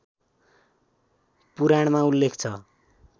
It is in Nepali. पुराणमा उल्लेख छ